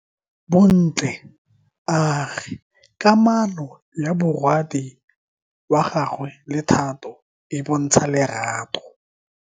Bontle a re kamano ya morwadi wa gagwe le Thato e bontsha lerato.